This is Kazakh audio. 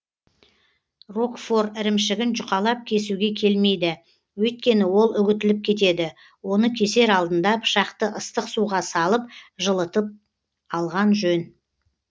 рокфор ірімшігін жұқалап кесуге келмейді өйткені ол үгітіліп кетеді оны кесер алдында пышақты ыстық суға салып жылытып алған жөн